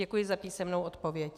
Děkuji za písemnou odpověď.